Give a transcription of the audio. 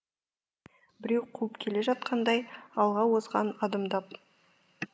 біреу қуып келе жатқандай алға озған адымдап